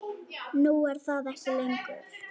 Nú er það ekki lengur.